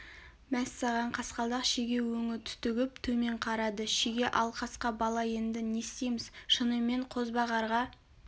мәссаған қасқалдақ шеге өңі түтігіп төмен қарады шеге ал қасқа бала енді не істейміз шынымен қозбағарға